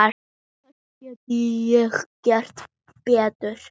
Hvað get ég gert betur?